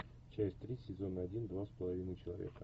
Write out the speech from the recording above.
часть три сезона один два с половиной человека